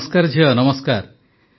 ନମସ୍କାର ଝିଅ ନମସ୍କାର